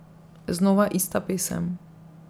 Znova ista pesem.